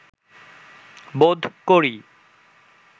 বোধ করি